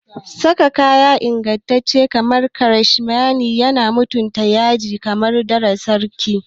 Saka kaya me inganci kamar cashmere yana sa mutum yaji kamar ɗansarki.